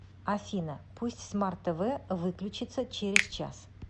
афина пусть смарт тв выключится через час